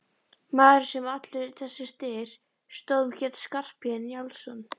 Maðurinn sem allur þessi styr stóð um hét Skarphéðinn Njálsson.